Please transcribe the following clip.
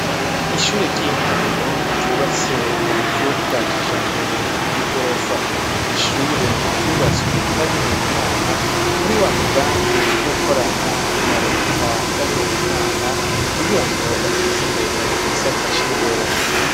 ishure ry'intango ryubatse mu buryo bwa kijambere bw'igorofa, ni ishure ryubatswe n'abihebeye imana muri wa mugambi wo gukorana na leta n'abihebeye imana kugirango bateze imbere igisata c,indero.